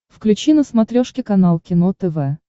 включи на смотрешке канал кино тв